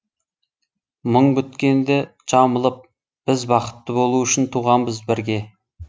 мұң біткенді жамылып біз бақытты болу үшін туғанбыз бірге